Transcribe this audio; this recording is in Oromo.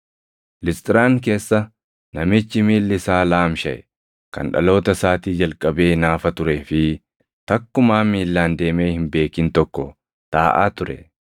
Lisxiraan keessa namichi miilli isaa laamshaʼe, kan dhaloota isaatii jalqabee naafa turee fi takkumaa miillaan deemee hin beekin tokko taaʼaa ture.